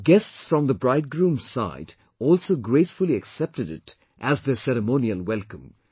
Guests from the bridegroom's side also gracefully accepted it as their ceremonial welcome